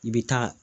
I bɛ taa